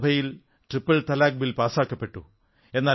ലോക്സഭയിൽ മുത്തലാഖ് ബിൽ പാസാക്കപ്പെട്ടു